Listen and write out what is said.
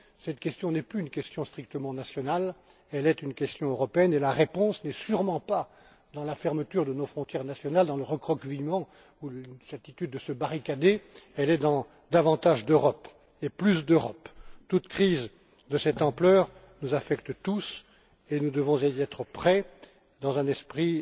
Cette question n'est plus une question strictement nationale, c'est une question européenne et la réponse n'est sûrement pas dans la fermeture de nos frontières nationales, dans le recroquevillement ou une attitude qui consiste à se barricader, elle est dans davantage d'Europe et plus d'Europe Toute crise de cette ampleur nous affecte tous, et nous devons nous y préparer, dans un esprit